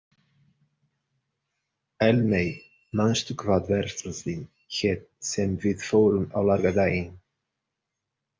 Eldmey, manstu hvað verslunin hét sem við fórum í á laugardaginn?